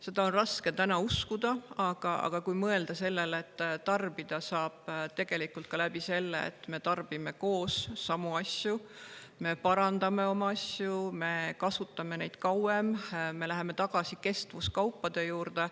Seda on raske uskuda, aga mõelge sellele, et tarbida saab ka nii, et me tarbime koos samu asju, me parandame oma asju, me kasutame neid kauem, me läheme tagasi kestvuskaupade juurde.